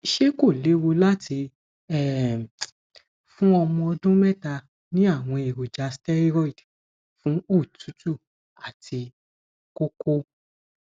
ṣé kò léwu láti um fún ọmọ ọdún mẹta ní àwọn èròjà steroid fún òtútù àti kókó